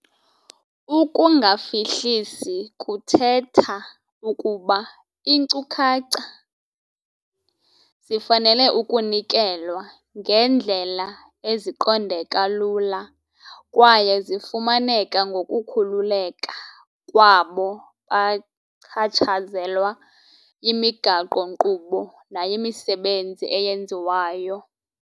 Ukungafihlisi kuthetha ukuba iinkcukacha zifanele ukunikelwa ngeendlela eziqondeka lula kwaye zifumaneka ngokukhululeka kwabo bachatshazelwa yimigaqo-nkqubo nayimisebenzi eyenziwayo.